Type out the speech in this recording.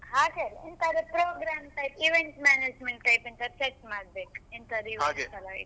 ಹಾ ಹಾಗೆಲ್ಲ ಅಲ್ಲ ಎಂತಾದ್ರೂ program type event management type ಎಂತಾದ್ರೂ set ಮಾಡ್ಬೇಕು ಎಂತ್ತಾದ್ರು events ತರ .